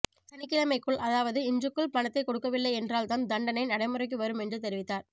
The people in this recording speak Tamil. சனிக்கிழமைக்குள் அதாவது இன்றுக்குள் பணத்தை கொடுக்கவில்லை என்றால்தான் தண்டனை நடைமுறைக்கு வரும் என்று தெரிவித்தார்